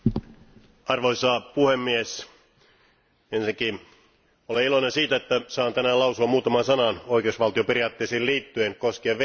Arvoisa puhemies, ensinnäkin olen iloinen siitä, että saan tänään lausua muutaman sanan oikeusvaltioperiaatteisiin liittyen koskien Venäjää.